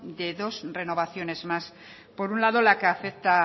de dos renovaciones más por un lado la que afecta